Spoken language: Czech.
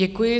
Děkuji.